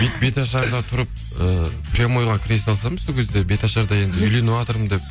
беташарда тұрып ііі прямойға кіре салсам сол кезде беташарда енді үйленіватырмын деп